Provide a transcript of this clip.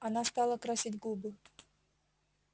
она стала красить губы